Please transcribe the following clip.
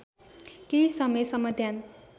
केही समयसम्म ध्यान